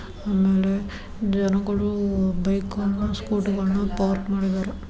ಆಮೇಲೆ ಜನಗಳು ಬೈಕ್ ಗಳನ್ನ ಸ್ಕೂಟಿ ಗಳನ್ನ ಪಾರ್ಕ್ ಮಾಡಿದ್ದಾರೆ.